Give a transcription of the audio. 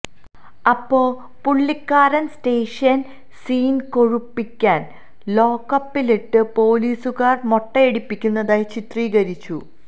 അപ്പോ പുള്ളിക്കാരന് station scene കൊഴുപ്പിക്കാന് ലോക്കപ്പിലിട്ട് പോലീസുകാര് മൊട്ടയടിപ്പിക്കുന്നതായി ചിത്രീകരിച്ചു